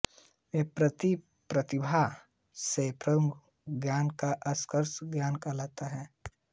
यह प्रातिभ प्रतिभा से उत्पन्न ज्ञान या आर्षज्ञान कहलाता है